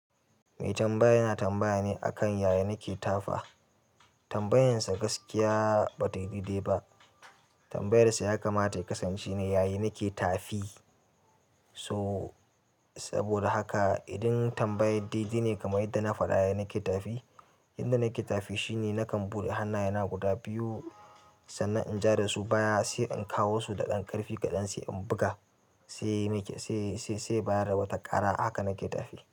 Mai tambaya yanatambaya ne akan yaya nake tafa. Tambayansa gaskiya ba ta yi dede ba. Tambayar sa ya kamata ya kasance ne yaya nake tafi? So saboda haka idan tambayar dde ne kamar yadda na faɗa yaya nake tafi, yadda nake tafi shine nakan buɗe hannayena guda biyu sannan in ja da su baya sai in kawo su da ƙanƙarfi kaɗan sai in buga sai nake sai, sai, sai bayar da wata ƙara haka nake tafi.